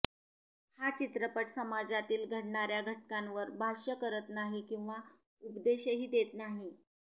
हा चित्रपट समाजातील घडणार्या घटनांवर भाष्य करत नाही किंवा उपदेशही देत नाही